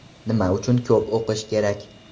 Nima uchun ko‘p o‘qish kerak?